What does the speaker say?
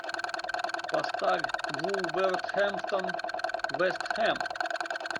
поставь вулверхэмптон вест хэм